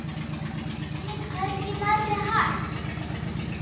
Hún er hvergi nærri hætt.